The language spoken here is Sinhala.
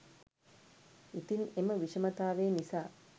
ඉතින් එම විෂමතාවය නිසා